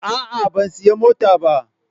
A'a, ban sayi motar ba.